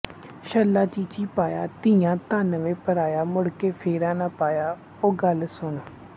ਛੱਲਾ ਚੀਚੀ ਪਾਇਆ ਧੀਆਂ ਧੰਨ ਵੇ ਪਰਾਇਆ ਮੁੜਕੇ ਫੇਰਾ ਨਾ ਪਾਇਆ ਓ ਗੱਲ ਸੁਣ